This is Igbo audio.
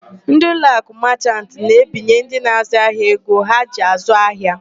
Ndị Uloakụ Machant na-ebinye ndị na-àzụ́ ahịa ego ha ji àzụ́ ahịa.